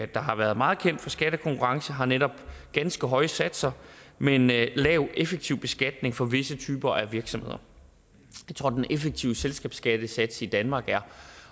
der har været meget kendt for skattekonkurrence har netop ganske høje satser med en lav lav effektiv beskatning for visse typer af virksomheder jeg tror den effektive selskabsskattesats i danmark er